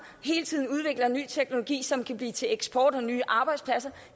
hele tiden udvikler ny teknologi som kan blive til eksport og nye arbejdspladser